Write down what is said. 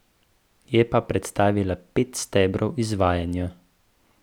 Je pa predstavila pet stebrov izvajanja.